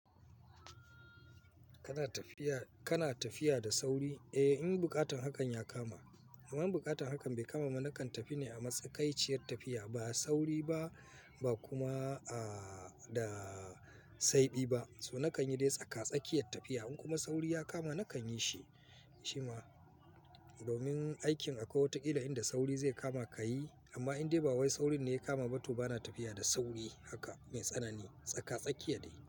Kana tafiya, kana tafiya da sauri? Eh, in bukatan hakan ya kama. Amma in bukatan hakan bai kama ma, nakan tafi ne a matsakaiciyar tafiya. Ba sauri ba, ba kuma, a, da, saiɓi ba. So nakan yi dai tsaka-tsakiya tafiya. In kuma sauri ya kama, nakan yi shi. Ciwa domin aikin akwai wata killa inda sauri zai kama ka yi. Amma in dai ba wai saurin ne ya kama ba to bana tafiya da sauri haka mai tsanani. Tsaka-tsakiya dai.